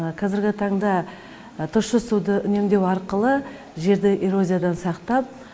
қазіргі таңда тұщы суды үнемдеу арқылы жерді эрозиядан сақтап